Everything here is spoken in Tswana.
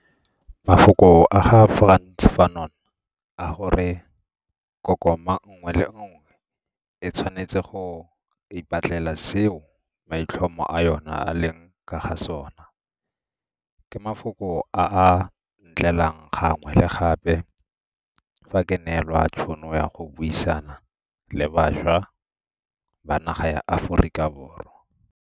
Mafoko a ga Frantz Fanon a gore, kokoma nngwe le nngwe e tshwanetse go ipatlela seo maitlhomo a yona a leng ka ga sona, ke mafoko a a ntlelang gangwe le gape fa ke neelwa tšhono ya go buisana le bašwa ba naga ya Aforika Borwa.